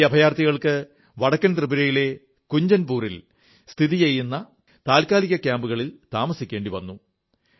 ഈ അഭയാർഥികൾക്ക് വടക്കൻ ത്രിപുരയിലെ കഞ്ചൻപൂർ ൽ സ്ഥിതി ചെയ്യുന്ന താത്കാലിക ക്യാമ്പുകളിൽ താമസിക്കേണ്ടി വന്നു